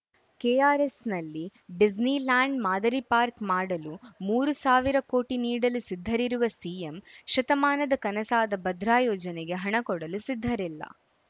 ಕೆಆರ್‌ಎಸ್‌ನಲ್ಲಿ Disneyland ಮಾದರಿ park ಮಾಡಲು ಮೂರು ಸಾವಿರ ಕೋಟಿ ನೀಡಲು ಸಿದ್ಧರಿರುವ ಸಿಎಂ ಶತಮಾನದ ಕನಸಾದ ಭದ್ರಾ ಯೋಜನೆಗೆ ಹಣ ಕೊಡಲು ಸಿದ್ಧರಿಲ್ಲ